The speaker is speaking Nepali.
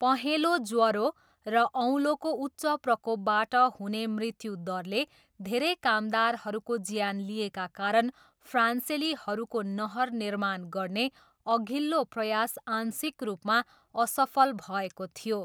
पहेँलो ज्वरो र औलोको उच्च प्रकोपबाट हुने मृत्युदरले धेरै कामदारहरूको ज्यान लिएका कारण फ्रान्सेलीहरूको नहर निर्माण गर्ने अघिल्लो प्रयास आंशिक रूपमा असफल भएको थियो।